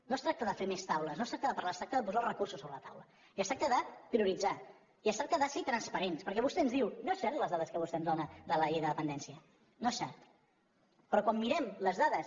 no es tracta de fer més taules no es tracta de parlar es tracta de posar els recursos sobre la taula i es tracta de prioritzar i es tracta de ser transparents perquè vostè ens diu no són certes les dades que vostè em dóna de la llei de dependència no són certes però quan mirem les dades